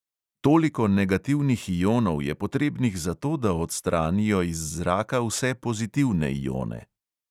Toliko negativnih ionov je potrebnih zato, da odstranijo iz zraka vse pozitivne ione.